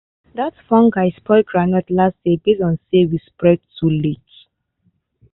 that fungus spoil groundnut last year base on say we spray too late.